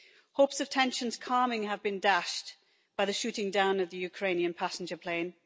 Hopes of tensions calming have been dashed by the shooting down of the Ukrainian passenger plane.